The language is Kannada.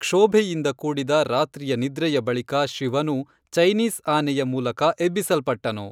ಕ್ಷೋಭೆಯಿಂದ ಕೂಡಿದ ರಾತ್ರಿಯ ನಿದ್ರೆಯ ಬಳಿಕ ಶಿವನು ಚೈನೀಸ್ ಆನೆಯ ಮೂಲಕ ಎಬ್ಬಿಸಲ್ಪಟ್ಟನು